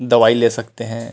दवाई ले सकते है।